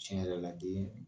Tiɲɛ yɛrɛ la den